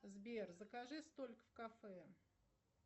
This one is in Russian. сбер закажи столик в кафе